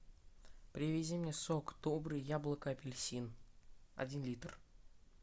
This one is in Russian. привези мне сок добрый яблоко апельсин один литр